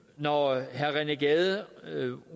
når herre rené gade